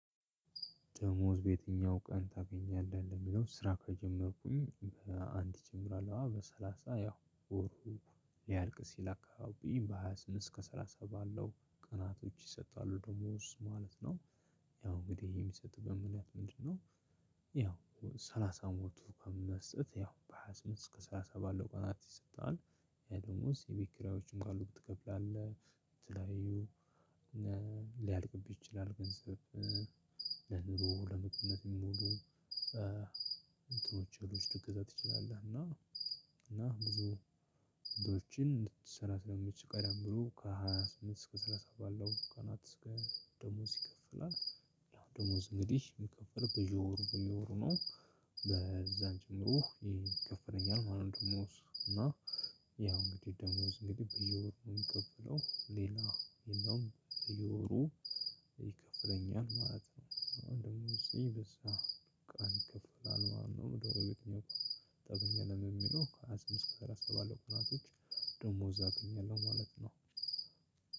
ደሞዝ በየትኛው ቀን ታገኛለህ ለሚለው ስራ ከጀመርኩኝ በአንድ እጀምራለሁ በሰላሳ ያው ወሩ ሊያርቅ ሲል አካባቢ በሃያ ስምንት እስከ ሰላሳ ባለው ቀናቶች ይሰጣሉ ደሞዝ ማለት ነው። ያው እንግዲህ የሚሰጥበት ምክንያት ምንድነው? ያው ሰላሳ ሞልቶ መስጠት ያው በሃያ ስምንት እስከ ሰላሳ ባለው ቀናት ይሰጥሀል። ይሄ ደሞዝ የቤት ኪራዮችም ካሉብ ትከፍላለህ የተለያዩ እና ሊያልቅብህ ይችላል ገንዘብ። ለኑ ለምግብነት የሚሞሉ እንትኖች እህሎች ልገዛ ትችላለህ። እና እና ብዙ እንድትሰራ ስለሚችል ቀደም ብሎ ከሃያ ስምንት እስከ ሰላሳ ባለው ቀናት። ደሞዝ ይከፈላል። ያው ደሞዝ እንግዲህ ሚከፈለው በየወሩ በየወሩ ነው። በዛን ጨምሮ ይከፈለኛል። ማለት ደሞዝ እና ያው እንግዲህ ደሞዝ እንግዲህ በየወሩ የምንከፍለው ሌላ የለውም በየወሩ ይከፍለኛል ማለት ነው። ደሞዜ እዚህ በዛ ቀን ይከፍላል ማለት ነው። ደሞዝ በየትኛው ቀን ታገኛለ የሚለው ከሃያ ስድስት እስከ ሰላሳ ባለው ቅናቶች። ደሞዝ አገኛለሁ ማለት ነው።